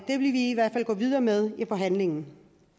det vil vi i hvert fald gå videre med i forhandlingen